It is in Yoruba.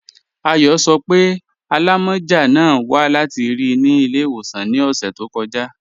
Ayọ sọ́ pé alámọ́já náà wà láti ri ni ilẹ̀-iwosan ni ọṣẹ̀ tó kọja.